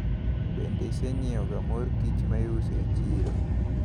Bende isenyiewoga mor kich maiuso e chiro?